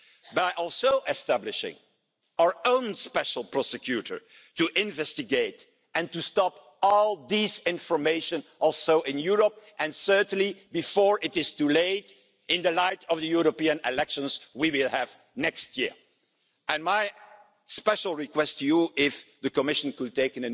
But there are also some less obvious the decision makers who actually don't take decisions and want to keep the status quo, who just want to keep their own privileges and who are just closing their eyes at what is at stake.